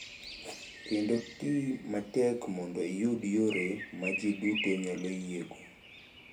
Kendo ti matek mondo iyud yore ma ji duto nyalo yiego.